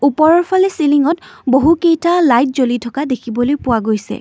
ওপৰৰ ফালে চিলিংত বহু কেইটা লাইট জ্বলি থকাও দেখিবলৈ পোৱা গৈছে।